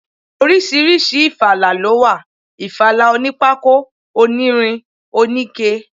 Oríṣiríṣi ifala ló wà, ìfala onípákó, onírin, oníke.